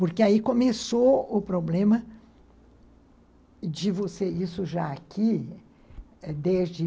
Porque aí começou o problema de você... Isso já aqui, desde